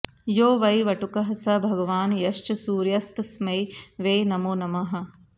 यो वै वटुकः स भगवान् यश्च सूर्यस्तस्मै वै नमो नमः